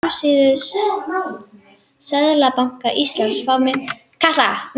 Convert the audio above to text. Á heimasíðu Seðlabanka Íslands má finna ýmsan fróðleik um íslensku peningana, bæði myntirnar og seðla.